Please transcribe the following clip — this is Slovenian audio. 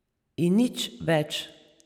In nič več.